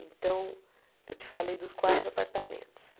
Então, eu te falei dos quatro apartamentos.